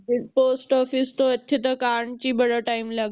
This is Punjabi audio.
Post office ਤੋਂ ਇਥੇ ਤਕ ਆਉਣ ਚ ਹੀ ਬੜਾ ਟਾਈਮ ਲੱਗ